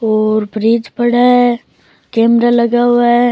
और फ्रिज पड़ा है कैमरा लगा हुआ है।